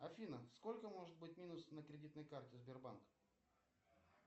афина сколько может быть минус на кредитной карте сбербанка